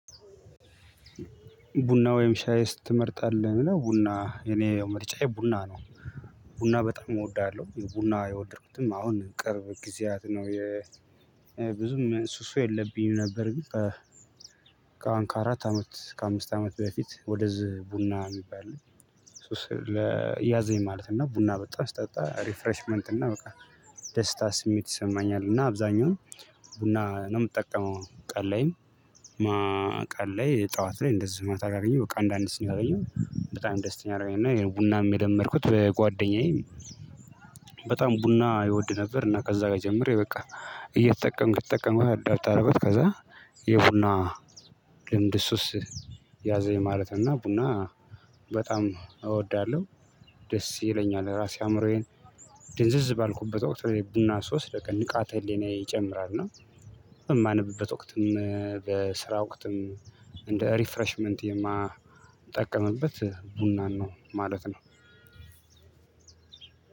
ቡና ወይም ሻይስ ትመርጣለህ ለሚለው ቡና የእኔ መርጫዬ ቡና ነው። ቡና በጣም እወዳለሁ ቡና የወደድኩትም አሁን ቅርብ ጊዜያት ነው። ብዙም ሱሱ የለብኝም ነበር ግን ከአራት አመት ከአምስት አመት በፊት ወደዚህ ቡና የሚባል ሱስ ለያዘኝ ማለት እና ቡና በጣም ስጠጣ ሪፍሬሽመንት እና በቃ ደስታ ስሜት ይሰማኛል። እና አብዛኛውን ቡና ነው የምጠቀመው ቀን ላይም ቀን ላይ ጠዋት ላይ እንደዚህ ማታ ካገኘሁ በቃ አንዳንድ ስኒ ካገኘሁ በጣም ደስተኛ አደረገኝ። እና ቡናም የለመድኩት በጓደኛዬ በጣም ቡና ይወድ ነበር እና ከዛ ጋር ጀምሬ በቃ እየተጠቀምክ ተጠቀምኩ አዳብት አረኩት ከዛ የቡና ልምድ ሱስ ያዘኝ። ማለት እና ቡና በጣም እወዳለሁ። ደስ ይለኛል ራሴ አእምሮዬን ድንዝዝ ባልኩበት ወቅት ላይ ቡና ስወስድ በቃ ንቃተ ህሊናዬ ይጨምራል። እና በማነብበት ወቅትም በስራ ወቅትም እንደ ሪፍራሽመንት የማጠቀምበት ቡናን ነው ማለት ነው።